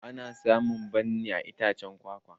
Ana samun bammi a iccen kwakwa